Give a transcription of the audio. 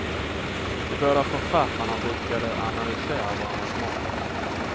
De båda författarna brukade analysera varandras manus.